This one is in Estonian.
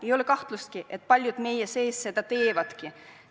Ei ole kahtlustki, et paljud meie seast seda teevadki.